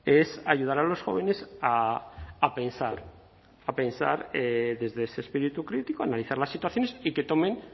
es ayudar a los jóvenes a pensar a pensar desde ese espíritu crítico analizar las situaciones y que tomen